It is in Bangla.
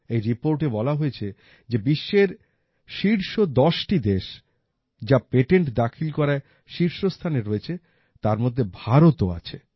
এই reportএ বলা হয়েছে যে বিশ্বের শীর্ষ ১০টি দেশ যা পেটেন্ট দাখিল করায় শীর্ষস্থানে রয়েছে তার মধ্যে ভারতও আছে